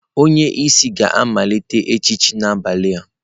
Onye isi ga-amalite echichi n'abalị a.